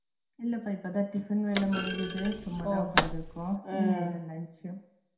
இல்ல பா இப்போதான் tiffin வேல முடிஞ்சிது சும்மாதான் உக்காந்திருக்கோ